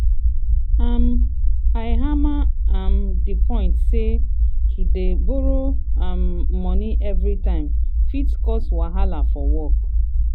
um i hammer um di point say to dey borrow um money everytime fit cause wahala for work.